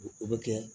O bɛ kɛ